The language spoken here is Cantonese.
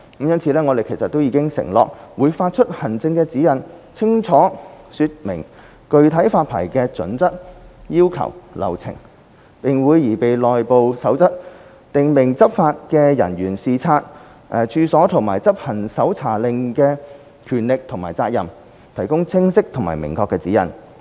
因此，我們已承諾會發出行政指引，清楚說明具體發牌準則、要求和流程；並會擬備內部守則，訂明執法人員視察處所和執行搜查令時的權力和責任，提供清晰和明確的指引。